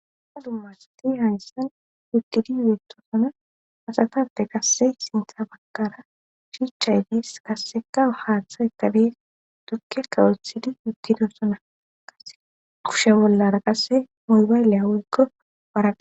ha dummasati hayyssan wugidi ubetosona asatappe qassey sintha bakara shiicha idiis kasseka haaththa etabe dukke kawothidi yugido sona kase kushe bollara qasse muybayliya walko waara